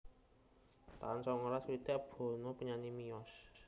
taun songolas swidak Bono penyanyi miyos